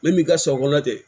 Ne m'i ka sɔ kɔnɔ tɛ